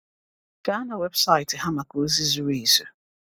Gaa na weebụsaịtị ha maka ozi zuru ezu.